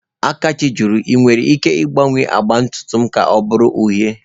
Akachi jụrụ, 'Ị nwere ike ịgbanwe agba ntutu m ka ọ bụrụ uhie?'